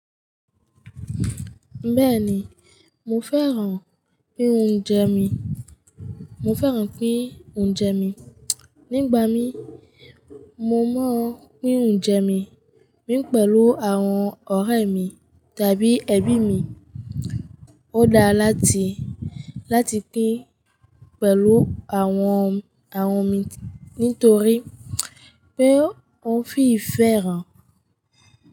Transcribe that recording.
Bẹ́ẹ̀ni, mo fẹ́ràn pín oúnjẹ mi, mo fẹ́ràn pín oúnjẹ mi. Nígbà mí, mo máa ń pín oúnjẹ mi pín pẹ̀lú àwọn ọ̀rẹ́ mi tàbí ẹbí mi. Ó dáa láti, láti pín pẹ̀lú àwọn, àwọn mi nítorí pé ó fi ìfẹ́ hàn.